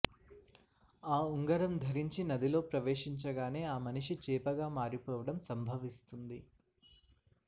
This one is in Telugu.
ఆ ఉంగరం ధరించి నదిలో ప్రవేశించగానే ఆ మనిషి చేపగామారిపోవడం సంభవిస్తుంది